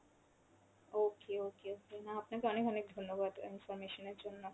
okay okay, না আপনাকে অনেক অনেক ধন্যবাদ information এর জন্য।